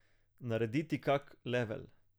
Narediti kak level.